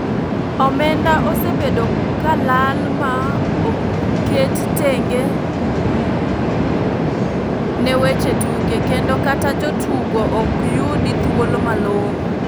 Omenda osebedo ka lal ma oketi tenge ne weche tuke ,kendo kata jo tugo ok yudi chudo malongo.